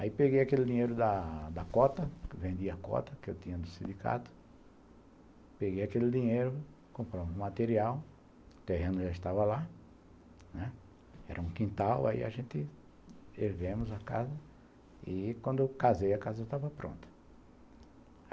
Aí peguei aquele dinheiro da da cota, que vendi a cota que eu tinha no sindicato, peguei aquele dinheiro, comprou um material, o terreno já estava lá, né, era um quintal, aí a gente erguemos a casa e quando eu casei a casa estava pronta.